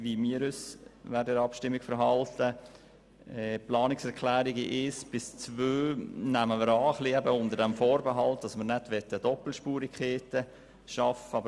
Die Planungserklärungen 1 und 2 nehmen wir unter dem Vorbehalt an, dass wir keine Doppelspurigkeiten schaffen möchten.